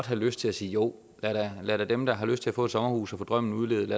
have lyst til at sige jo lad da dem der har lyst til at få et sommerhus og få drømmen udlevet